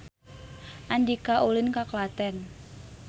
Andika ulin ka Klaten